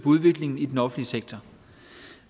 udviklingen i den offentlige sektor